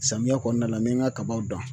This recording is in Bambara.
Samiyɛ kɔnɔna la n bɛ n ka kabaw dan